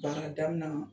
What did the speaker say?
Baara daminɛ